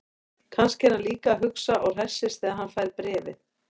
Kannski er hann líka að hugsa og hressist þegar hann fær bréfið.